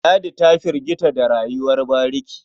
Ladi ta firgita da rayuwar bariki.